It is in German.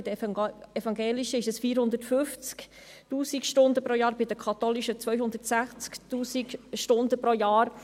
Bei der evangelisch-reformierten Kirche sind es 450 000 Stunden pro Jahr und bei der katholischen Kirche 260 000 Stunden pro Jahr.